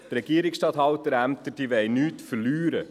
die Regierungsstatthalterämter wollen nichts verlieren.